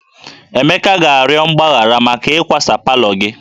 Emeka ga-arịọ mgbaghara maka ịkwasa palọ gị